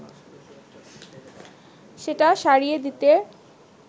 সেটা সারিয়ে দিতে